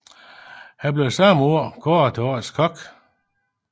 Han blev samme år kåret til Årets kok